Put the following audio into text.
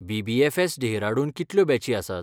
BBFS., Dehradun कितल्यो बॅची आसात?